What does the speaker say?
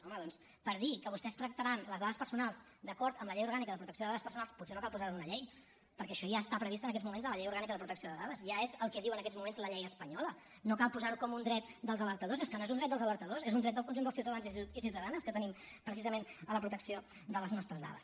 home doncs per dir que vostès tractaran les dades personals d’acord amb la llei orgànica de protecció de dades personals potser no cal posar ho en una llei perquè això ja està previst en aquests moments en la llei orgànica de protecció de dades ja és el que diu en aquests moments la llei espanyola no cal posar ho com un dret dels alertadors és que no és un dret dels alertadors és un dret del conjunt dels ciutadans i ciutadanes que tenim precisament a la protecció de les nostres dades